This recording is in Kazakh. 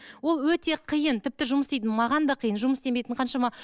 ол өте қиын тіпті жұмыс істейтін маған да қиын жұмыс істемейтін қаншама